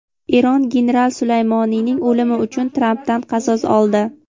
Eron general Sulaymoniyning o‘limi uchun Trampdan "qasos oldi".